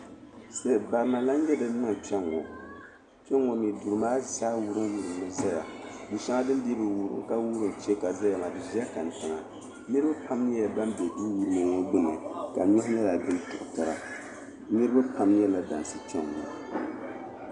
Barina n lahi nyɛ din niŋ Kpenŋɔ Kpenŋɔ mee duri maa zaa wurim wurim mi zaya du sheŋa din dii bi wurim ka wurim che ka zaya maa di zala kantiŋa niriba pam nyɛla ban be duwurima ŋɔ gbini ka nuhi nyɛla din tirita niriba pam nyɛla dansi.